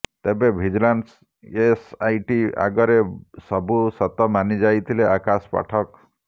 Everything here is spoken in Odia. ତେବେ ଭିଜିଲାନ୍ସ ଏସଆଇଟି ଆଗରେ ସବୁ ସତ ମାନିଯାଇଥିଲେ ଆକାଶ ପାଠକ